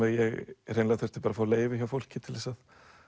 ég hreinlega þurfti að fá leyfi hjá fólki til þess að